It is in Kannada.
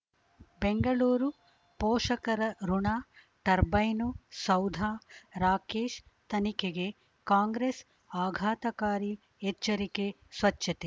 ಬೆಂಗಳೂರು ಪೋಷಕರಋಣ ಟರ್ಬೈನು ಸೌಧ ರಾಕೇಶ್ ತನಿಖೆಗೆ ಕಾಂಗ್ರೆಸ್ ಆಘಾತಕಾರಿ ಎಚ್ಚರಿಕೆ ಸ್ವಚ್ಛತೆ